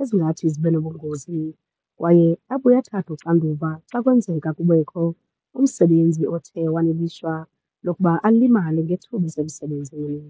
ezingathi zibe nobungozi. Kwaye apho uye athathe uxanduva xa kwenzeka kubekho umsebenzi othe wanelishwa lokuba alimale ngethuba esemsebenzini.